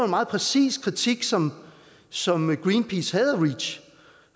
meget præcis kritik som som greenpeace havde af reach